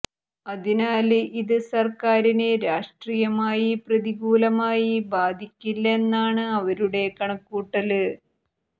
അതിനാല് ഇത് സര്ക്കാരിനെ രാഷ്ട്രീയമായി പ്രതികൂലമായി ബാധിക്കില്ല എന്നാണ് അവരുടെ കണക്കുകൂട്ടല്